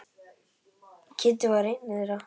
Kiddi var einn þeirra.